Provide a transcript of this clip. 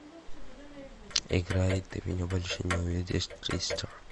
играй ты меня больше не увидишь тристар